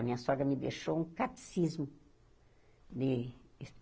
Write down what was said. A minha sogra me deixou um catecismo de.